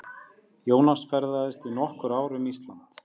Jónas ferðaðist í nokkur ár um Ísland.